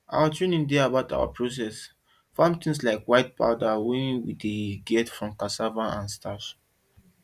our training dey about our to process farm things like white powder wey we dey get from cassava and starch